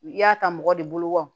I y'a ta mɔgɔ de bolo wa